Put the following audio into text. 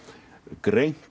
greint